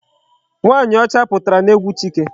Nwaanyị ọcha pụtara n'egwu Chike.